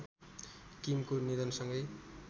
किमको निधनसँगै